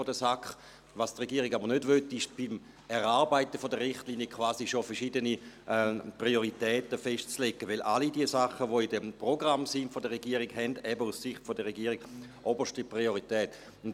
Was die Regierung aber nicht will, ist, beim Erarbeiten der Richtlinien quasi schon verschiedene Prioritäten festzulegen, weil all diese Sachen, die im Programm der Regierung enthalten sind, aus Sicht der Regierung eben oberste Priorität haben.